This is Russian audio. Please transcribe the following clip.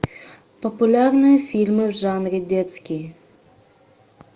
популярные фильмы в жанре детский